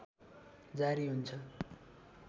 जारी हुन्छ